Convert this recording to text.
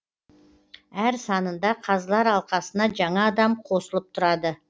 әр санында қазылар алқасына жаңа адам қосылып тұрады